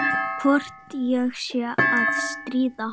Hvort ég sé að stríða.